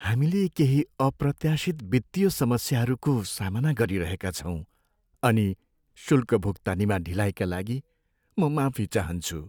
हामीले केही अप्रत्याशित वित्तीय समस्याहरूको सामना गरिरहेका छौँ अनि शुल्क भुक्तानीमा ढिलाइका लागि म माफी चाहन्छु।